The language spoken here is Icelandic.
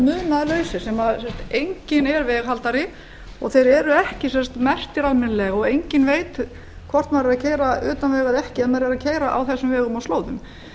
munaðarlaus þar sem enginn er veghaldari og þeir eru ekki merktir almennilega og enginn veit hvort maður er að keyra utan vegar eða ekki ef maður er að keyra á þessum vegum og slóðum